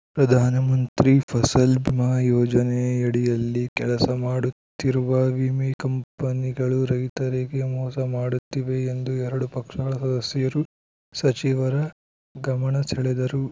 ಪ್ರಧಾನಮಂತ್ರಿ ಫಸಲ್‌ ಬಿಮಾ ಯೋಜನೆಯಡಿಯಲ್ಲಿ ಕೆಲಸ ಮಾಡುತ್ತಿರುವ ವಿಮೆ ಕಂಪನಿಗಳು ರೈತರಿಗೆ ಮೋಸ ಮಾಡುತ್ತಿವೆ ಎಂದು ಎರಡು ಪಕ್ಷಗಳ ಸದಸ್ಯರು ಸಚಿವರ ಗಮನ ಸೆಳೆದರು